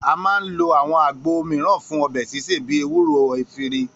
A máa ń lo áwo̩n àgbo mìíràn fún o̩bè̩ sísè bíi ewúro, efiri